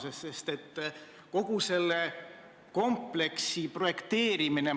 Sellessamas saates nimetas tänane rahandusminister Saksamaa kaubanduspoliitikat globaalseks räkitiks ehk kuritegelikuks väljapressimiseks.